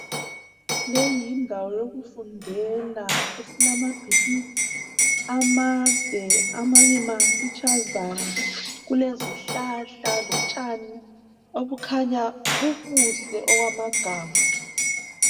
Leyi yindawo yokufundela esilamabhilidi amade amanye mafitshazana, kulezihlahla lotshani obukhanya bubuhle okwamagama.